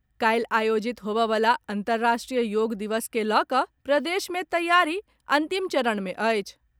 काल्हि आयोजित होबय वला अंतर्राष्ट्रीय योग दिवस के लऽकऽ प्रदेश मे तैयारी अंतिम चरण मे अछि।